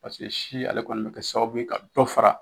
Paseke si ale kɔni bɛ kɛ sababu ye ka dɔ fara.